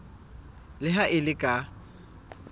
le ha e le ka